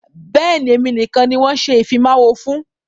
Bẹ́ẹ̀ni, èmi nìkan ni wọn ṣe ìfimawo fún.